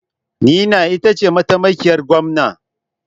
Nina ita ce mataimakiyar Gwamna.